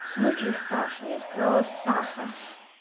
в смысле саша я сказала сахар